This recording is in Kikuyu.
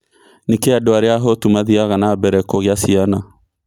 nĩkĩĩ andũ arĩa ahũtu mathie na mbere kũngia ciana